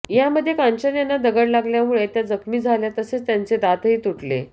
यामध्ये कांचन यांना दगड लागल्यामुळे त्या जखमी झाल्या तसंच त्यांचे दातही तुटले